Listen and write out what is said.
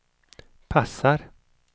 passar